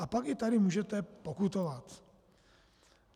A pak i tady můžete pokutovat.